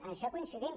en això coincidim